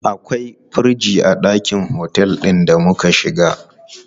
Akwai firiji a ɗakin otel ɗin da muka shiga.